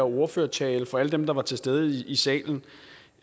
ordførertale for alle dem der var til stede i salen